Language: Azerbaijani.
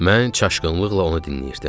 Mən çaşqınlıqla onu dinləyirdim.